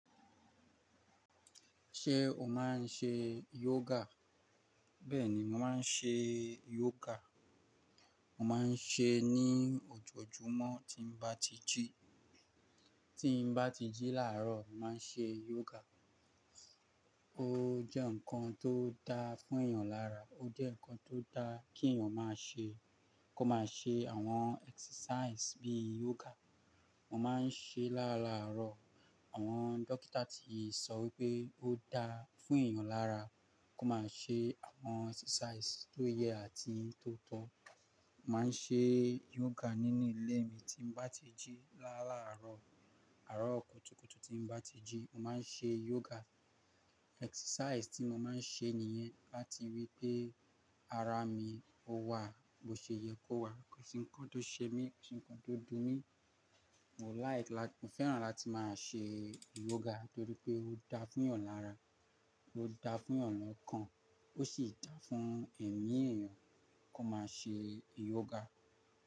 Ṣé o máa ń ṣe yoga? Bẹ́ẹ̀ni, mo máa ń ṣe yoga. Mo máa ń ṣe ní òjòjúmọ́ tí n bá ti jí. Tí n bá ti jí làárọ̀, màá ń ṣe yoga. Ó jẹ́ nǹkan tó dáa fún èèyàn lára. Ó jẹ́ nǹkan tó dáa kí èèyàn máa ṣe. Kó máa ṣe àwọn exercise bíi yoga. Mo máa ń ṣe láàláàárọ̀. Àwọn dókítà ti sọ wípé ó dáa fún èèyàn lára kó máa ṣe àwọn exercise tó yẹ àti tó tọ́. Mo máa ń ṣe yoga nínú ilé mi tí n bá ti jí. Láàláàárọ̀, àárọ̀ kùtùkùtù tí n bá ti jí, mo máa ń ṣe yoga. Exercise tí mo máa ń ṣe nìyẹn láti ríi pé ara mi ó wà bó ṣe yẹ kó wà. Kò sí ǹkan tó ṣe mí, kò sí ǹkan tó dun mí. Mo fẹ́ràn láti máa ṣe yoga nítorí pé ó dáa fún èèyàn lára, ó dáa fún èèyàn lọ́kàn, ó sì dáa fún ẹ̀mí èèyàn kó máa ṣe yoga.